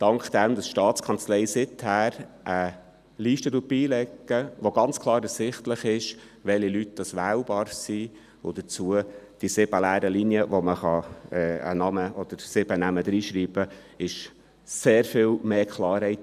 Dank der von der Staatskanzlei beigelegten Liste mit sieben leeren Linien, die mit sieben Namen beschriftet werden können, sodass ganz klar ersichtlich ist, welche Leute wählbar sind, besteht für ganz viele Wählende sehr viel mehr Klarheit.